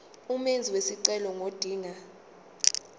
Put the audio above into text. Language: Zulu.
umenzi wesicelo ngodinga